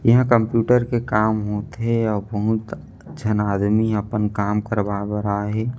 यहाँ कम्प्यूटर के काम होथे आउ बहुत झन आदमी ह आपन काम करवावे बर आहे --